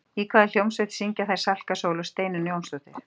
Í hvaða hljómsveit syngja þær Salka Sól og Steinunn Jónsdóttir?